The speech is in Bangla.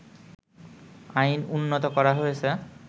আইন উন্নত করা হয়েছে